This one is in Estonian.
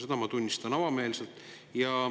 Seda ma tunnistan avameelselt.